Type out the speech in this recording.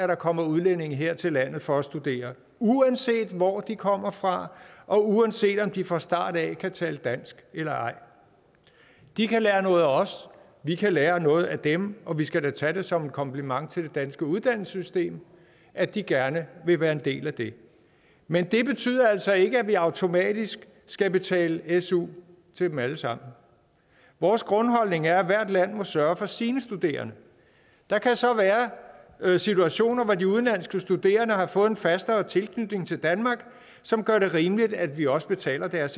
der kommer udlændinge her til landet for at studere uanset hvor de kommer fra og uanset om de fra start af kan tale dansk eller ej de kan lære noget af os vi kan lære noget af dem og vi skal da tage det som en kompliment til det danske uddannelsessystem at de gerne vil være en del af det men det betyder altså ikke at vi automatisk skal betale su til dem alle sammen vores grundholdning er at hvert land må sørge for sine studerende der kan så være situationer hvor de udenlandske studerende har fået en fastere tilknytning til danmark som gør det rimeligt at vi også betaler deres